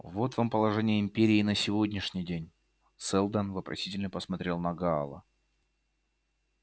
вот вам положение империи на сегодняшний день сэлдон вопросительно посмотрел на гаала